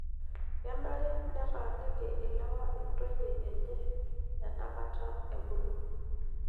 Kenare netaaniki ilewa ntoyie enye enaka ebulu.